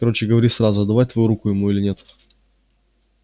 короче говори сразу отдавать твою руку ему или нет